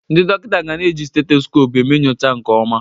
Ndị dọkịta ga na-eji steteskopu eme nyocha nke ọma.